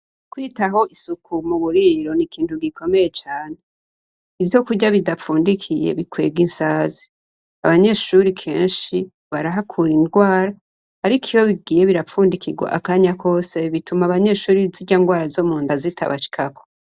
Kwitaho isuku muburiro nikintu gikomeye cane. Ivyo kurya bidafundikiye bikwega insazi. Abanyeshure kenshi barahakura ibigwara, ariko iyo bigiye birafundikirwa akanya kose bituma abanyeshure zirya ngwara zo Munda zitabashikako.